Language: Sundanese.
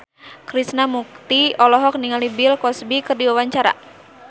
Krishna Mukti olohok ningali Bill Cosby keur diwawancara